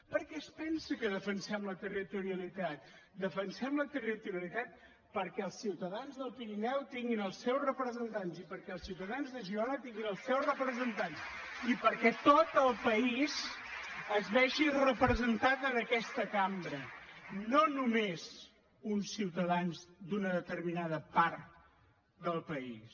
per què es pensa que defensem la territorialitat defensem la territorialitat perquè els ciutadans del pirineu tinguin els seus representants i perquè els ciutadans de girona tinguin els seus representants només uns ciutadans d’una determinada part del país